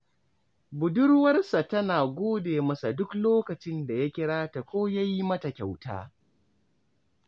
Badurwarsa tana gode masa duk lokacin da ya kira ta ko ya yi mata kyauta